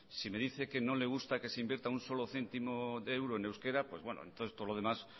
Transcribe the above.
si me dice que no le gusta que se invierta un solo céntimo de euro en euskera pues bueno entonces todo lo demás